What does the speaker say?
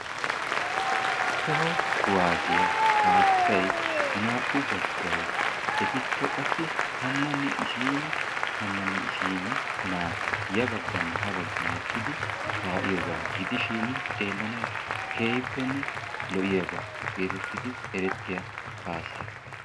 Toho kuwasiya kaassay naa"u baggay, etikka qassi tammanne isiini naati, tammanne isiini naati ya bagginne ha baggi eqqidi kaa'iyogaa gidishin xewllanawu keehippenne lo'iyaba geetettidi erettiya kaassa.